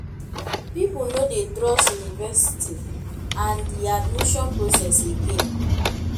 pipo no dey trust univerisity and di admission process again